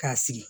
K'a sigi